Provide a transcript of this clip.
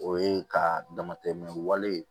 O ye ka dama tɛmɛ wale